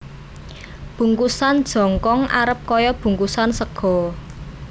Bungkusan jongkong arep kaya bungkusan sega